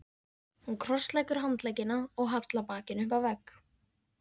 Hún krossleggur handleggina og hallar bakinu upp að vegg.